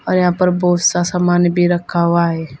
और यहां पर बहुत सा सामान भी रखा हुआ है।